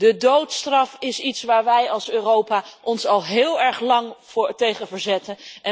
De doodstraf is iets waar wij als Europa ons al heel erg lang tegen verzetten.